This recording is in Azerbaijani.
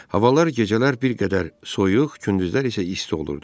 Havalar gecələr bir qədər soyuq, gündüzlər isə isti olurdu.